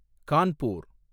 Kanpur